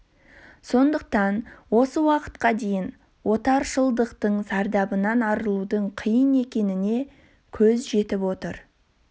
сондықтан осы уақытқа дейін отаршылдықтың зардабынан арылудың қиын екеніне көз жетіп отыр